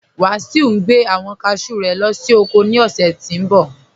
Wasiu ní gbẹ̀ awọn káshú rẹ̀ lọ sí oko ní ọṣẹ̀ tí ń bọ̀.